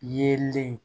Yelen